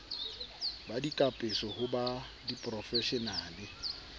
ba dikapeso ho ba diporofeshenale